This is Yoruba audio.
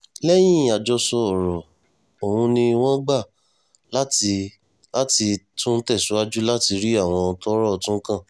lẹ́yìn àjọsọ ọ̀rọ̀ ọ̀hún ni wọ́n gbà láti láti tún tẹ̀síwájú láti rí àwọn tọ́rọ̀ tún kàn